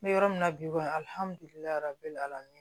N bɛ yɔrɔ min na bi kɔni alihamidulilayi